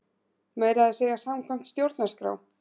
Meira að segja samkvæmt stjórnarskrá!